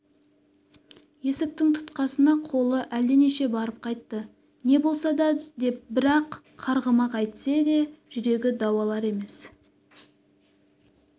есіктің тұтқасына қолы әлденеше барып қайтты не болса да деп бір-ақ қарғымақ әйтсе де жүрегі дауалар емес